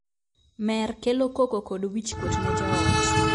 Mer kelo koko kod wich kuot ne joot.